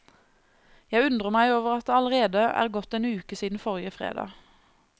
Jeg undrer meg over at det allerede er gått en uke siden forrige fredag.